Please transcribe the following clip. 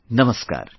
Namaskar